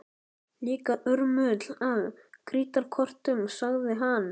Líka urmull af krítarkortum sagði hann.